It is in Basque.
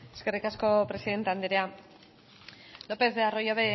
eskerrik asko presidente anderea lopez de arroyabe